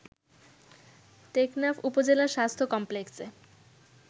টেকনাফ উপজেলা স্বাস্থ্য কমপ্লেক্সে